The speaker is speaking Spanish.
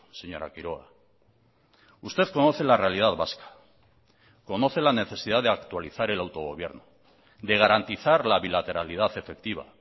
señora quiroga usted conoce la realidad vasca conoce la necesidad de actualizar el autogobierno de garantizar la bilateralidad efectiva